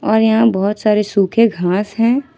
और यहां बहोत सारे सूखे घास हैं।